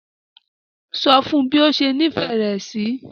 So fún bi o ṣe nifẹ rẹ sí.